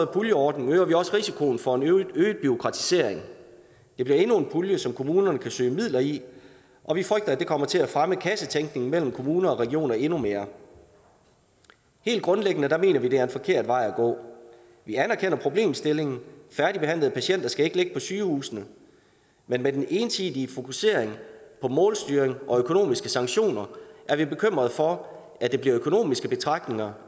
puljeordning øger vi også risikoen for en øget bureaukratisering det bliver endnu en pulje som kommunerne kan søge midler i og vi frygter at det kommer til at fremme kassetænkningen mellem kommuner og regioner endnu mere helt grundlæggende mener vi det er en forkert vej at gå vi anerkender problemstillingen færdigbehandlede patienter skal ikke ligge på sygehusene men med den ensidige fokusering på målstyring og økonomiske sanktioner er vi bekymrede for at det bliver økonomiske betragtninger